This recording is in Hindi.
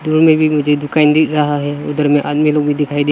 रूम में भी मुझे दुकान दिख रहा है उधर में आदमी लोग भी दिखाई दे--